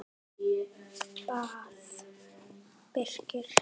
bað Birkir.